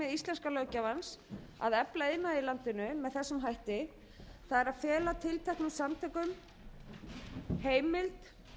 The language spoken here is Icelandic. íslenska löggjafans að efla iðnað í landinu með þessum hætti það er að fela tilteknum samtökum heimild